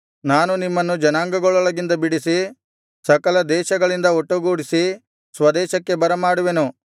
ನಾನು ನಿಮ್ಮನ್ನು ಜನಾಂಗಗಳೊಳಗಿಂದ ಬಿಡಿಸಿ ಸಕಲ ದೇಶಗಳಿಂದ ಒಟ್ಟುಗೂಡಿಸಿ ಸ್ವದೇಶಕ್ಕೆ ಬರಮಾಡುವೆನು